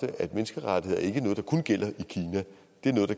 af menneskerettighederne i kina